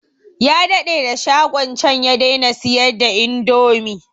Ya daɗe da shagon can ya daina siyar da indomi